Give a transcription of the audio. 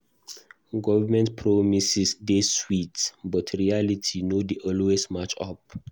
Government promises dey sweet, but reality no dey always match up.